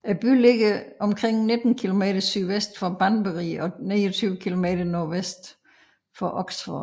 Byen ligger omkring 19 km sydvest for Banbury og 29 km nordvest for Oxford